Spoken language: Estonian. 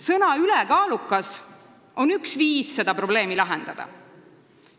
Sõna "ülekaalukas" on üks viis seda probleemi lahendada.